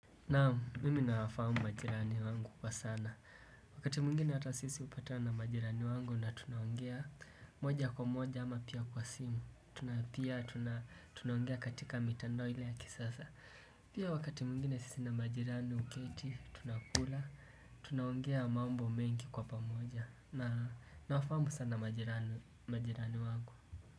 Naam mimi nawafahamu majirani wangu kwa sana Wakati mwingine hata sisi hupatana na majirani wangu na tunaongea moja kwa moja ama pia kwa simu Tuna pia tunaongea katika mitandao ile ya kisasa Pia wakati mwingine sisi na majirani huketi tunakula Tunaongea mambo mengi kwa pamoja na nawafamu sana majirani majirani wangu.